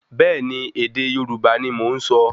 Bẹ́ẹ̀ni, ède Yorùbá ní mọ nsọ